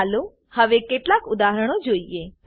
ચાલો હવે કેટલાક ઉદાહરણો જોઈએ